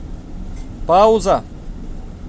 пауза